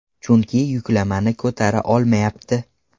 Chunki yuklamani ko‘tara olmayapti.